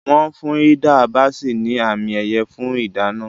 Wọ́n fún Hilda Baci ní àmì-ẹ̀yẹ fún ìdáná.